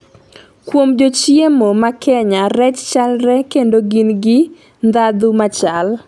kuom jochiemo ma Kenya rech chalre kendo gin gi ndandhu machal